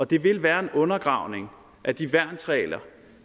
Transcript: det vil være en undergravning af de værnsregler